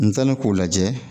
N taalen k'o lajɛ